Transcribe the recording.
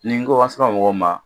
Nin n ko an sera mɔgɔw ma